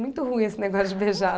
Muito ruim esse negócio de beijar.